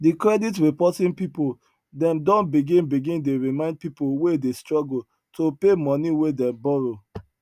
di credit reporting people dem don begin begin dey remind people wey dey struggle to pay money wey dem borrow